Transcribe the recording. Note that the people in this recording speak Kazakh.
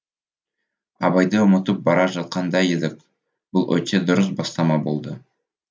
абайды ұмытып бара жатқандай едік бұл өте дұрыс бастама болды